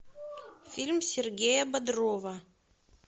фильм сергея бодрова